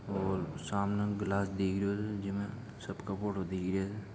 और सामने ग्लास दिखरियो छे जिमे सबका फोटो दिखरिया छे।